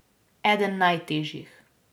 Eden najtežjih.